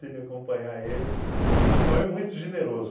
acompanhar ele, mas ele é muito generoso.